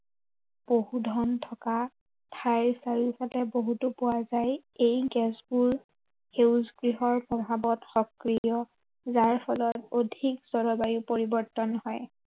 পশুধন থকা, ঠাইৰ চাৰিওফালে বহুতো পোৱা যায়। এই গেছবোৰ সেউজ গৃহৰ প্ৰভাৱত সক্ৰিয়। যাৰ ফলত অধিক জলবায়ু পৰিৱৰ্তন হয়।